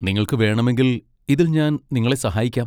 നിങ്ങൾക്ക് വേണമെങ്കിൽ ഇതിൽ ഞാൻ നിങ്ങളെ സഹായിക്കാം.